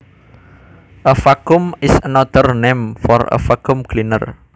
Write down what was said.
A vacuum is another name for a vacuum cleaner